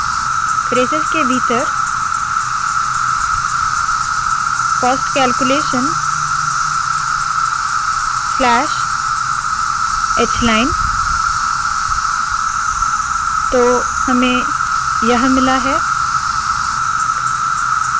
braces के भीतर cost calculation slash hलाइन तो हमें यह मिला है